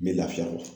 N bɛ lafiya